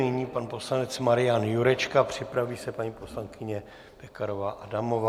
Nyní pan poslanec Marian Jurečka, připraví se paní poslankyně Pekarová Adamová.